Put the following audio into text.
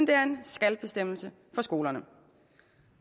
det er en skal bestemmelse for skolerne